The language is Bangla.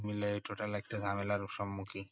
সব মিলাই total একটা ঝামেলার সম্মুখী